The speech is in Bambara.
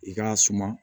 I k'a suma